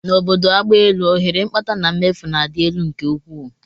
N'obodo agbaelu, ohere mkpata na mmefu na-adị elu nke ukwuu